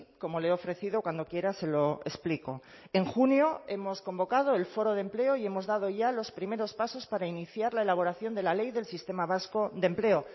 como le he ofrecido cuando quiera se lo explicó en junio hemos convocado el foro de empleo y hemos dado ya los primeros pasos para iniciar la elaboración de la ley del sistema vasco de empleo